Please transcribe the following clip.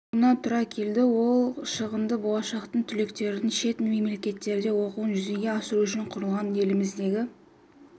тұруына тура келді ол шығынды болашақтық түлектердің шет мемлекеттерде оқуын жүзеге асыру үшін құрылған еліміздегі